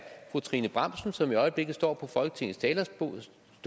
fru trine bramsen som i øjeblikket står på folketingets talerstol